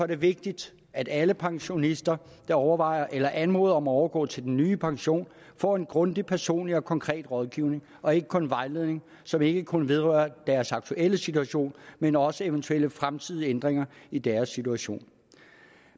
det vigtigt at alle pensionister der overvejer eller anmoder om at overgå til den nye pension får en grundig personlig og konkret rådgivning og ikke kun en vejledning som ikke kun vedrører deres aktuelle situation men også eventuelle fremtidige ændringer i deres situation